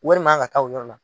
Wari man ka taa o yɔrɔ la.